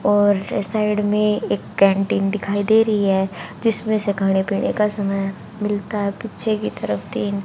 और इस साइड में एक कैंटीन दिखाई दे रही है जिसमें से खाने पीने का सामान मिलता है पीछे की तरफ तीन--